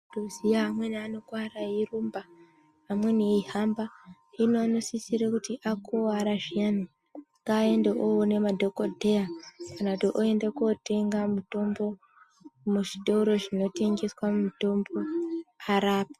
Tinoziya amweni anokuwara eirumba amweni eifamba hino anosisira kuti akuwara zviyani ngaende onoona madhokodheya kana kuti oenda kunotenga mutombo muzvitoro zvinotengeswa mutombo arapwe.